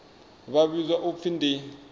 vha vhidzwa u pfi ndi